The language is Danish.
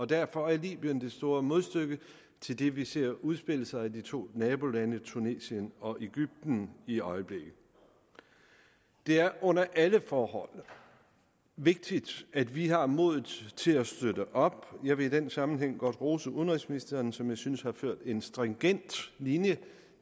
derfor er libyen det store modstykke til det vi ser udspille sig i de to nabolande tunesien og egypten i øjeblikket det er under alle forhold vigtigt at vi har modet til at støtte op jeg vil i den sammenhæng godt rose udenrigsministeren som jeg synes har ført en stringent linje